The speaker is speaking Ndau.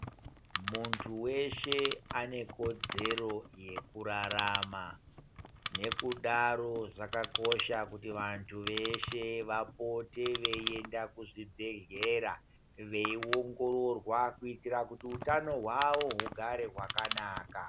Muntu weshe ane kodzero yekurarama, nekudaro zvakakosha kuti vantu veshe vapote veienda kuzvibhedhlera veiongororwa kuitire kuti utano hwavo hugare kwakanaka.